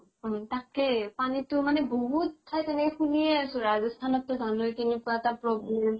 উম, তাকেই । পানী তো মানে বহুত ঠাইত এনেকে শুনিয়ে আছো । ৰাজস্থান ত জানৱে কেনেকুৱা এটা problem